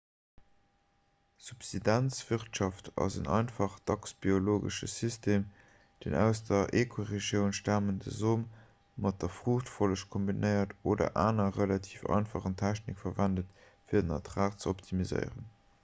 subsistenzwirtschaft ass en einfachen dacks biologesche system deen aus der ekoregioun stamende som mat der fruuchtfolleg kombinéiert oder aner relativ einfach technike verwent fir den ertrag ze optimiséieren